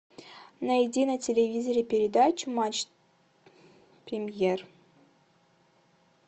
найди на телевизоре передачу матч премьер